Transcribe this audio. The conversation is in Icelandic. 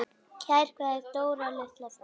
Kær kveðja, Dóra litla frænka.